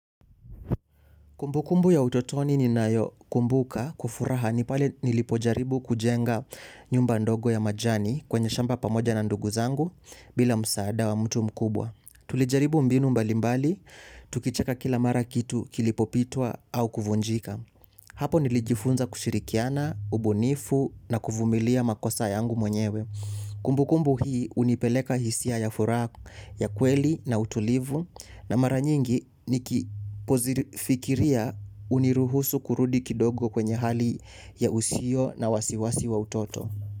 Kumbukumbu ya utotoni ninayokumbuka kwa furaha ni pale nilipojaribu kujenga nyumba ndogo ya majani kwenye shamba pamoja na ndugu zangu bila msaada wa mtu mkubwa. Tulijaribu mbinu mbalimbali, tukicheka kila mara kitu kilipopitwa au kuvunjika. Hapo nilijifunza kushirikiana, ubunifu na kuvumilia makosa yangu mwenyewe. Kumbukumbu hii hunipeleka hisia ya furaha ya kweli na utulivu na mara nyingi ninapozifikiria huniruhusu kurudi kidogo kwenye hali ya usio na wasiwasi wa utoto.